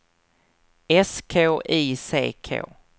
S K I C K